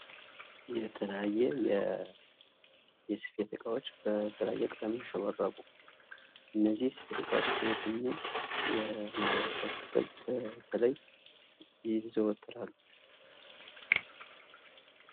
የተለያየ የስፌት እቃዎች በተለያየ ቀለም ያሸበረቁ እነዚህ የስፌት ተቃዋሚዎች በየትኛው የማህበረሰብ ክፍል በተለይ ይዘወተራሉ?